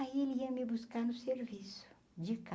Aí ele ia me buscar no serviço, de